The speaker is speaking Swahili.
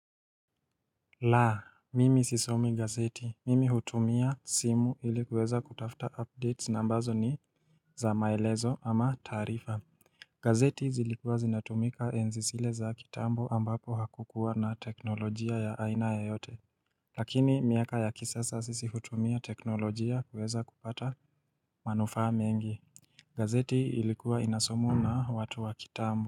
La mimi sisomi gazeti mimi hutumia simu ili kuweza kutafta updates na ambazo ni za maelezo ama taarifa gazeti zilikuwa zinatumika enzi zile za kitambo ambapo hakukuwa na teknolojia ya aina yoyote Lakini miaka ya kisasa sisi hutumia teknolojia kuweza kupata manufaa mengi gazeti ilikuwa inasomwa na watu wa kitambo.